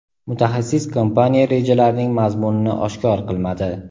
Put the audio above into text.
mutaxassis kompaniya rejalarining mazmunini oshkor qilmadi.